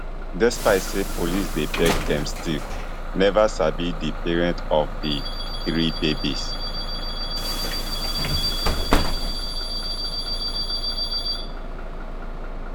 despite say police dey beg dem still never sabi di parents of of di three babies